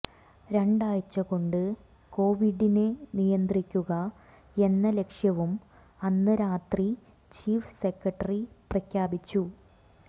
രണ്ടാഴ്ച കൊണ്ട് കൊവിഡിനെ നിയന്ത്രിക്കുകയെന്ന ലക്ഷ്യവും അന്ന് രാത്രി ചീഫ് സെക്രട്ടറി പ്രഖ്യാപിച്ചു